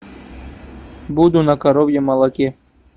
буду на коровьем молоке